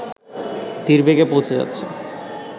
তীরবেগে পৌঁছে যাচ্ছে